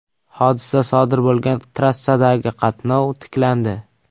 Hodisa sodir bo‘lgan trassadagi qatnov tiklandi.